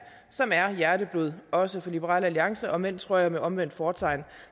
som er hjerteblod også for liberal alliance om end tror jeg med omvendt fortegn